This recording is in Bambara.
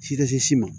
Si ka se si ma